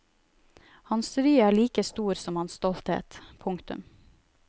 Hans ry er like stor som hans stolthet. punktum